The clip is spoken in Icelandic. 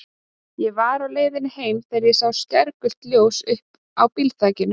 Ég var á leiðinni heim þegar ég sá skærgul ljósin uppi á bílþakinu.